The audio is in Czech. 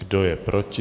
Kdo je proti?